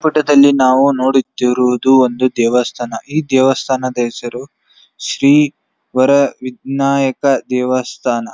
Photo ದಲ್ಲಿ ನಾವು ನೋಡುತ್ತಿರುವುದು ಒಂದು ದೇವಸ್ಥಾನ ಈ ದೇವಸ್ಥಾನದ ಹೆಸರು ಶ್ರೀ ವರ ವಿಗ್ನಾಯಕ ದೇವಸ್ಥಾನ.